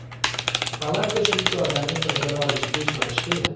Palatka shuncha odamni sig‘dira olishiga ishonish qiyin.